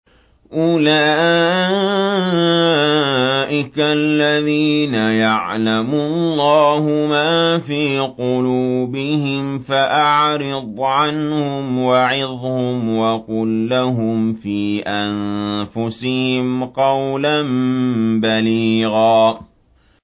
أُولَٰئِكَ الَّذِينَ يَعْلَمُ اللَّهُ مَا فِي قُلُوبِهِمْ فَأَعْرِضْ عَنْهُمْ وَعِظْهُمْ وَقُل لَّهُمْ فِي أَنفُسِهِمْ قَوْلًا بَلِيغًا